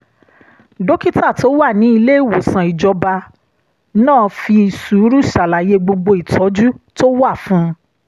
dókítà tó wà ní ilé ìwòsàn ìjọba náà fi sùúrù ṣàlàyé gbogbo ìtọ́jú tó wà fún un